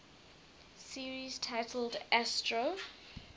series titled astro